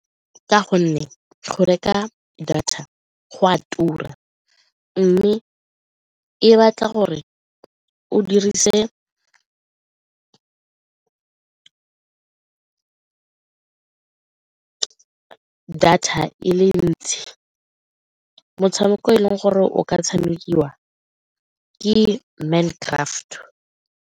Ka gonne go reka data go a tura mme e batla gore o dirise data e le ntsi motshameko e leng gore o ka tshamekiwa ke Mind Craft.